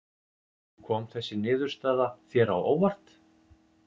Kom þessi niðurstaða þér á óvart?